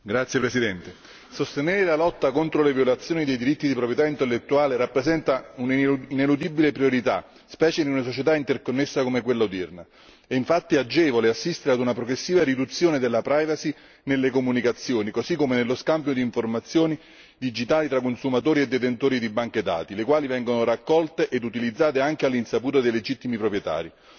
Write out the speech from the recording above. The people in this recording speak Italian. Signor Presidente, onorevoli colleghi, sostenere la lotta contro le violazioni dei diritti di proprietà intellettuale rappresenta un'ineludibile priorità specie in una società interconnessa come quella odierna. È infatti agevole assistere a una progressiva riduzione della privacy nelle comunicazioni, così come nello scambio di informazioni digitali tra consumatori e detentori di banche dati, dati che vengono raccolti e utilizzati anche all'insaputa dei legittimi proprietari.